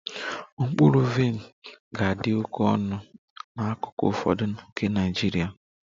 Mkpụrụ vaịn ga-adị oke ọnụ n'akụkụ ụfọdụ nke Nigeria